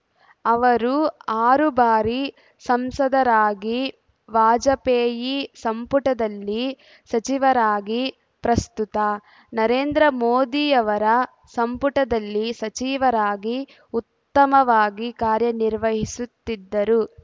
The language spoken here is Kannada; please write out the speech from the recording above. ಅವರು ಆರು ಬಾರಿ ಸಂಸದರಾಗಿ ವಾಜಪೇಯಿ ಸಂಪುಟದಲ್ಲಿ ಸಚಿವರಾಗಿ ಪ್ರಸ್ತುತ ನರೇಂದ್ರಮೋದಿಯವರ ಸಂಪುಟದಲ್ಲಿ ಸಚಿವರಾಗಿ ಉತ್ತಮವಾಗಿ ಕಾರ್ಯನಿರ್ವಹಿಸುತ್ತಿದ್ದರು